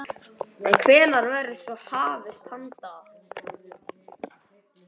En hvenær verður svo hafist handa?